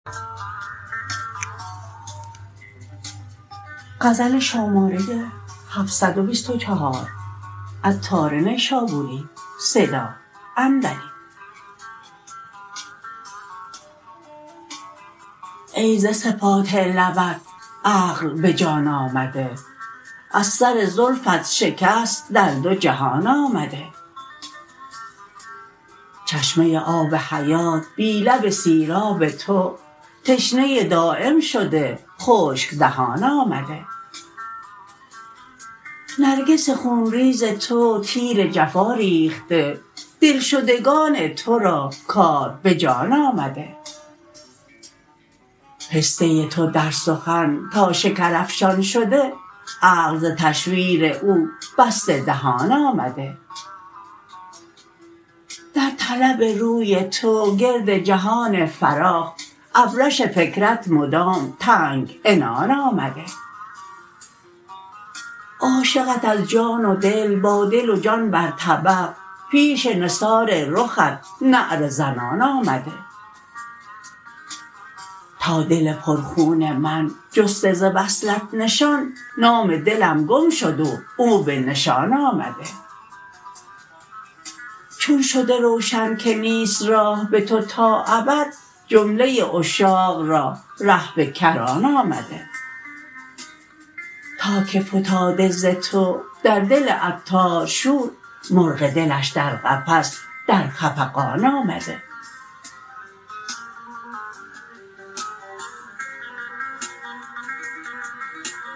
ای ز صفات لبت عقل به جان آمده از سر زلفت شکست در دو جهان آمده چشمه آب حیات بی لب سیراب تو تشنه دایم شده خشک دهان آمده نرگس خون ریز تو تیر جفا ریخته دلشدگان تورا کار به جان آمده پسته تو در سخن تا شکرافشان شده عقل ز تشویر او بسته دهان آمده در طلب روی تو گرد جهان فراخ ابرش فکرت مدام تنگ عنان آمده عاشقت از جان و دل با دل و جان برطبق پیش نثار رخت نعره زنان آمده تا دل پر خون من جسته ز وصلت نشان نام دلم گم شده و او به نشان آمده چون شده روشن که نیست راه به تو تا ابد جمله عشاق را ره به کران آمده تا که فتاده ز تو در دل عطار شور مرغ دلش در قفس در خفقان آمده